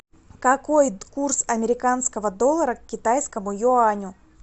какой курс американского доллара к китайскому юаню